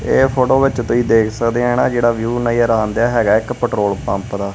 ਇਹ ਫੋਟੋ ਵਿੱਚ ਤੁਹੀ ਦੇਖ ਸਕਦੇ ਆ ਨਾ ਜਿਹੜਾ ਵਿਊ ਨਜ਼ਰ ਆਣਦਿਆ ਹੈਗੈ ਇੱਕ ਪੈਟਰੋਲ ਪੰਪ ਦਾ।